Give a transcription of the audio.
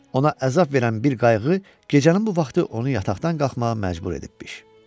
Ona əzab verən bir qayğı gecənin bu vaxtı onu yataqdan qalxmağa məcbur edibmiş.